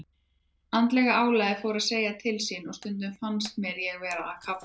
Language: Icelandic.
Andlega álagið fór að segja til sín og stundum fannst mér ég vera að kafna.